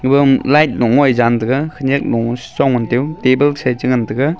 light nok ngoi jan tega khenyak mo mo table sha se te ngan tega.